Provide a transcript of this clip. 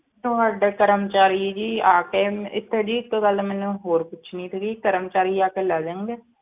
ਤੁਹਾਡੇ ਕਰਮਚਾਰੀ ਜੀ ਆਕੇ ਇਥੇ ਜੀ ਇੱਕ ਗੱਲ ਮੈਂ ਹੋਰ ਪੁੱਛਣੀ ਸੀਗੀ ਕਰਮਚਾਰੀ ਆਕੇ ਲੈ ਜਾਣਗੇ?